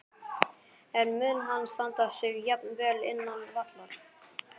En mun hann standa sig jafn vel innan vallar?